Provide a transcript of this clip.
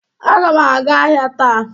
Aga m aga ahịa taa